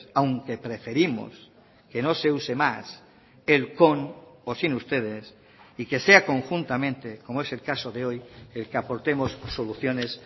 aunque preferimos que no se use más el con o sin ustedes y que sea conjuntamente como es el caso de hoy el que aportemos soluciones